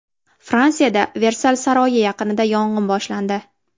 Fransiyada Versal saroyi yaqinida yong‘in boshlandi .